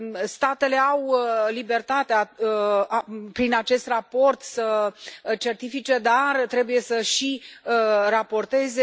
Statele au libertatea prin acest raport să certifice, dar trebuie să și raporteze.